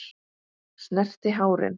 Snerti hárin.